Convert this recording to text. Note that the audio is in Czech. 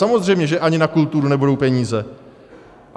Samozřejmě že ani na kulturu nebudou peníze.